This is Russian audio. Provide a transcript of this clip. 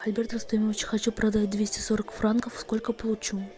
альберт рустемович хочу продать двести сорок франков сколько получу